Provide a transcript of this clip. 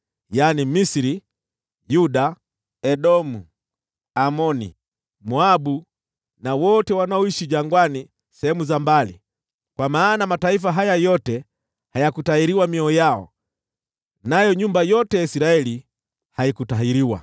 yaani Misri, Yuda, Edomu, Amoni, Moabu na wote wanaoishi jangwani sehemu za mbali. Kwa maana mataifa haya yote hayakutahiriwa mioyo yao, nayo nyumba yote ya Israeli haikutahiriwa.”